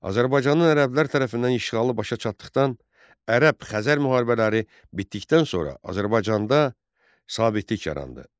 Azərbaycanın ərəblər tərəfindən işğalı başa çatdıqdan ərəb-Xəzər müharibələri bitdikdən sonra Azərbaycanda sabitlik yarandı.